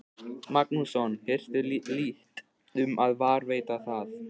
Magnússon, hirtu lítt um að varðveita það.